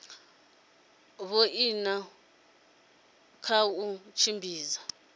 vhoina goosen kha u tshimbidza